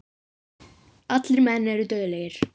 Allir menn eru dauðlegir.